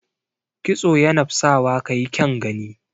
Kitso yanap sawa ka yi kyaun gani.